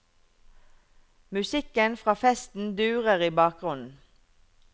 Musikken fra festen durer i bakgrunnen.